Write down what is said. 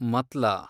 ಮತ್ಲಾ